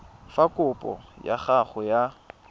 fa kopo ya gago ya